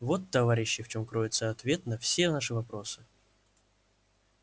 вот товарищи в чём кроется ответ на все наши вопросы